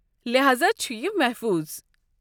لہاذا چھُ یہِ محفوٗظ۔